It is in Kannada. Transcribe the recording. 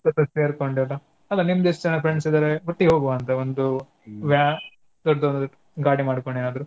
ಜೊತೆ ಸೇರ್ಕೊಂಡು ಅಲ್ಲಾ ನಿಮ್ದ್ ಎಸ್ಟ ಜನಾ friends ಇದಾರೆ ಒಟ್ಟಿಗೆ ಹೋಗುವ ಅಂತಾ ಒಂದೂ ವ್ಯಾ~ ದೊಡ್ದು ಗಾಡಿ ಮಾಡ್ಕೊಂಡು ಏನಾದ್ರೂ.